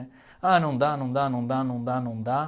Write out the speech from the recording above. Ah, não dá, não dá, não dá, não dá, não dá.